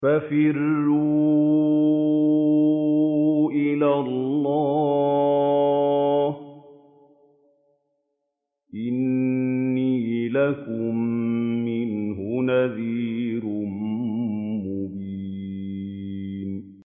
فَفِرُّوا إِلَى اللَّهِ ۖ إِنِّي لَكُم مِّنْهُ نَذِيرٌ مُّبِينٌ